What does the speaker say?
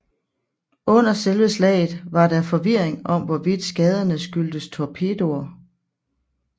Under selve slaget var der forvirring om hvorvidt skaderne skyldtes torpedoer